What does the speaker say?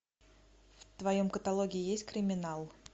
в твоем каталоге есть криминал